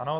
Ano.